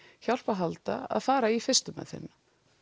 hjálp að halda að fara í fyrstu meðferðina